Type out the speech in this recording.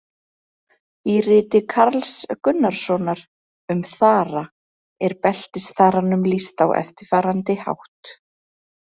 Í riti Karls Gunnarssonar um þara er beltisþaranum lýst á eftirfarandi hátt: